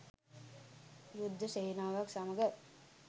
යුද්ධ සේනාවක් සමග